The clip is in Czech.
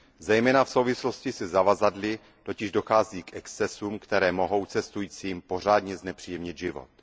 Zejména v souvislosti se zavazadly totiž dochází k excesům, které mohou cestujícím pořádně znepříjemnit život.